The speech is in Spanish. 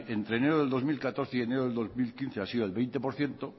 entre enero de dos mil catorce y enero de dos mil quince ha sido del veinte por ciento